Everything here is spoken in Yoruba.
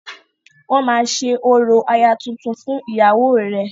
Wọ́n máa ṣe orò aya tuntun fún ìyàwó rẹ..